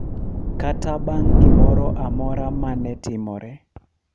kata bang’ gimoro amora ma ne timore, .